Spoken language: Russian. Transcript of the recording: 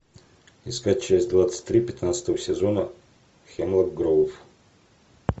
искать часть двадцать три пятнадцатого сезона хемлок гроув